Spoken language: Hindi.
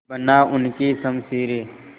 बना उनकी शमशीरें